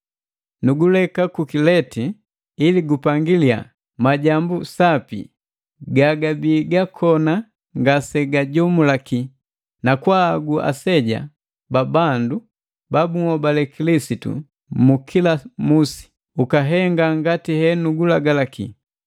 Nuguleka ku Kilete ili gupangiliya majambu sapi gagabi gakona ngasegajomulaki, nakwaahagu aseja babandu ba bunhobale Kilisitu mu kila musi. Ukahenga ngati henugulagalaki: